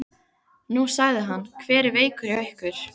Nú, sagði hann, hver er veikur hjá ykkur?